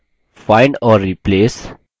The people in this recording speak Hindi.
find और replace खोजने और बदले में रखना